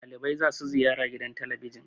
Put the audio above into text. dalibai za su ziyara gidan talabijin